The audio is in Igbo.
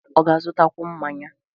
Ọ ga-azụtakwu mmanya?